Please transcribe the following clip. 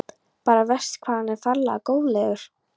Bara verst hvað hann er ferlega góðlegur.